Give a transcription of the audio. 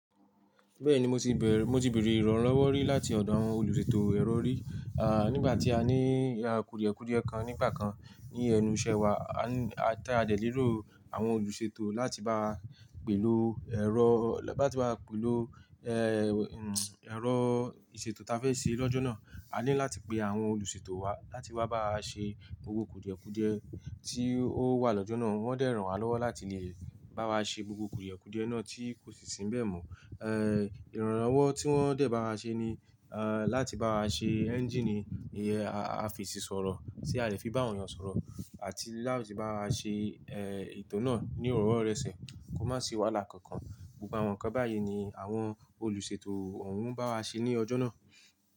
Bẹ́ẹ̀ni mo ti bẹ̀rẹ̀, mo ti bèrè ìrànlọ́wọ́ rí láti ọ̀dọ̀ àwọn olùṣètò ẹ̀rọ rí. À, nígbà tí a ní kùdìẹ̀kùdìẹ̀ kan nígbà kan ní ẹnu ìṣẹ́ wa, a ní, tí a dẹ̀ léro àwọn olùṣètò láti báwa pèlò ẹ̀rọ, lá ti báwa pèlò, ẹ̀rọ ìṣètò ta fe ṣe lọ́jọ́ náà. A ní láti pe àwọn olùṣètò wá láti wá báwa ṣe gbogbo kùdìẹ̀kùdìẹ̀ tí ó wà lọ́jọ́ náà. Wọ́n dẹ̀ ràn wá lọ́wọ́ láti lè bá wa ṣe gbogbo kùdìẹ̀kùdìẹ̀ náà tí kò sì sínbẹ̀ mọ́. Ẹ́, ìrànlọ́wọ́ tí wọ́n dẹ̀ bá wa ṣe ní, láti bá wa ṣe ẹ́ńjíìnì, a fesì sọ̀rọ̀ tí a lè fi bá àwọn èèyàn sọ̀rọ̀ àti láti bá wa ṣe, ẹ́, ètò náà ní ìrówo n rẹ̀ ṣẹ̀, kó má sì wàláì kankan. Gbogbo àwọn nǹkan báyìí ni àwọn olùṣètò òun bá wa ṣe ní ọjọ́ náà.